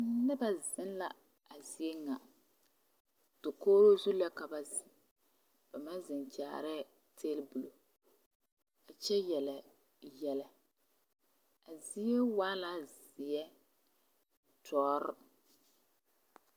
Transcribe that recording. Noba zeŋ la a zie ŋa dakogri zu la ka ba zeŋ ba maŋ zeŋ kyaarɛɛ tebol a kyɛ yele yɛlɛ a zie waa la zeɛ dɔre.